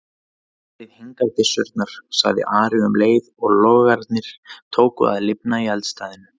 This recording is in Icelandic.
Berið hingað byssurnar, sagði Ari um leið og logarnir tóku að lifna í eldstæðinu.